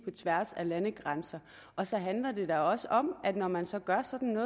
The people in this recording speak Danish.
tværs af landegrænser og så handler det da også om at når man så gør sådan